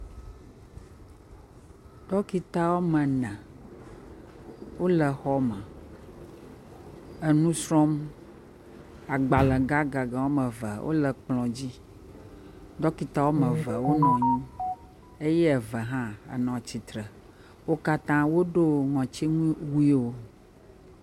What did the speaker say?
Ɖɔkita wɔme ene wole xɔme enu srɔ̃m. Agbale gãgã wɔme eve wole kplɔ dzi. Ɖɔkita wɔme eve wonɔ anyi eye eve hã le tsitre. Wo kastã woɖo kɔtiŋuwuwo